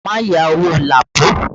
Má yáwó Lapo!